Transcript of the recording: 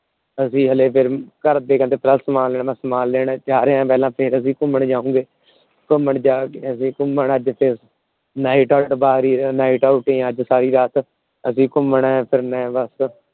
ਅਸੀਂ ਹਲੇ ਘਰ ਦੇ ਕਹਿੰਦੇ ਪਹਿਲਾ ਸਮਾਨ ਲੈ ਆ। ਮੈ ਸਮਾਨ ਲੈਣ ਜਾ ਰਿਹਾ ਪਹਿਲਾ ਫੇਰ ਅਸੀਂ ਘੁੰਮਣ ਜਾਉਂਗੇ। ਘੁੰਮਣ ਅੱਜ ਸਾਰੀ ਰਾਤ ਅਸੀਂ ਘੁੰਮਣਾ